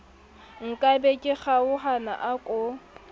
nkabe ke kgaohana a ko